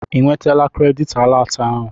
Ị nwetala kredit alat ahụ?